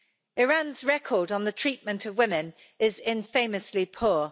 Iran's record on the treatment of women is infamously poor.